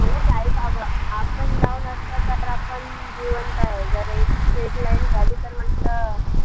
up and down असला तर आपण जिवंत ए. जर एक straight line झाली तर म्हणलं